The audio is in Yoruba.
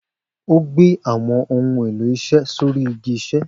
O gbé àwọn ohun èló isé sóri igi isé